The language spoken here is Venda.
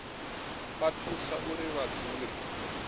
vha thusa uri vha dzule